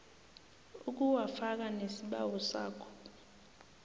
ukuwafaka nesibawo sakho